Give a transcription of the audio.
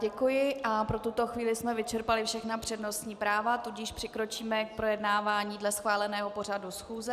Děkuji a pro tuto chvíli jsme vyčerpali všechna přednostní práva, tudíž přikročíme k projednávání dle schváleného pořadu schůze.